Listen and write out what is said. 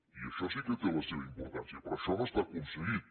i això sí que té la seva importància però això no està aconseguit